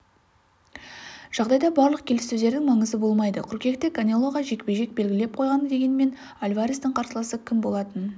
жағдайда барлық келіссөздердің маңызы болмайды қыркүйекте канелоға жекпе-жек белгілеп қойған дегенмен альварестің қарсыласы кім болатынын